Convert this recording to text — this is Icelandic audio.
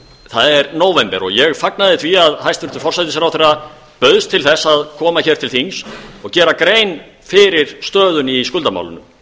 það er nóvember og ég fagnaði því að hæstvirtur forsætisráðherra bauðst til þess að koma hingað til þings og gera grein fyrir stöðunni í skuldamálunum